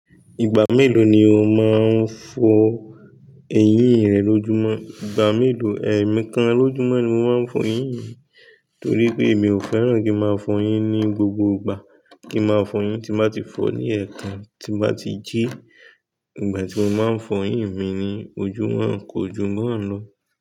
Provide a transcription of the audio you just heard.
Ìgbà mélòó ni o máa ń fọ eyín rẹ lójúmọ́? Ìgbà mélòó, ẹ̀ẹ̀mí kan lójúmọ́ ni mo máa ń fọ eyín mi, torí pé mi ò fẹ́ràn kí ń máa fọ eyín ní gbogbo ìgbà, kí ń máa fọ eyín tí bá ti fọ ní ẹ̀ẹ̀kan, tí n bá ti jí. Ìgbà tí mo máa ń fọ eyín mi ni ojúmọ́ ko ju ba n lọ.